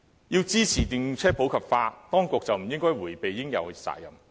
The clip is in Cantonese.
要支持電動車普及化，當局便不應迴避應有的責任。